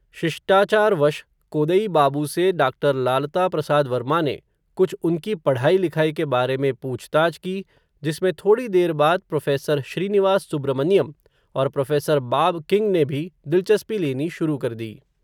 शिष्टाचारवश, कोदई बाबू से डाक्टर लालता प्रसाद वर्मा ने, कुछ उनकी पढ़ाई लिखाई के बारे में, पूछताछ की, जिसमें थोड़ी देर बाद, प्रोफ़ेसर श्रीनिवास सुब्र मनियम, और प्रोफ़ेसर बाब किंग ने भी, दिलचस्पी लेनी शुरू कर दी